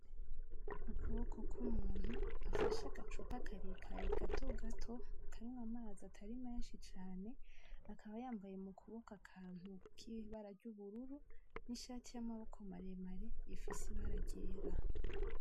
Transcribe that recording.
Ukuboko k’muntu afashe agacuba karekare kandi gatogato karimwo amazi atarii meshi cane akaba yambaye mu kubokoko akantu k’ibara ry’ubururu n’ishati y’amaboko maremare ifise ibara ryera.